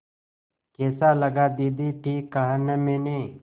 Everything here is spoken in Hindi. कैसा लगा दीदी ठीक कहा न मैंने